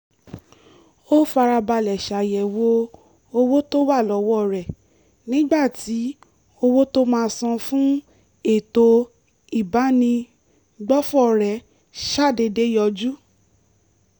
ó farabalẹ̀ ṣàyẹ̀wò owó tó wà lọ́wọ́ rẹ̀ nígbà tí owó tó máa san fún ètò ìbánigbófò rẹ̀ ṣàdédé yọjú